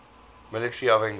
military of angola